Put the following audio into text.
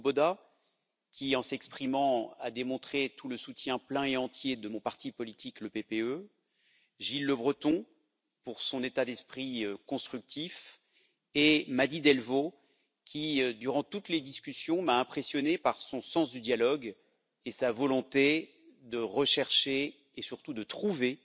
Swoboda qui, en s'exprimant, a démontré tout le soutien plein et entier de mon parti politique, le PPE, Gilles Lebreton, pour son état d'esprit constructif, et Mady Delvaux qui, durant toutes les discussions, m'a impressionné par son sens du dialogue et sa volonté de rechercher, et surtout de trouver